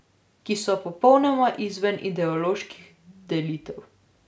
Ki so popolnoma izven ideoloških delitev.